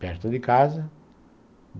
perto de casa.